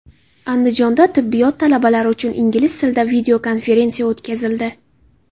Andijonda tibbiyot talabalari uchun ingliz tilida videokonferensiya o‘tkazildi.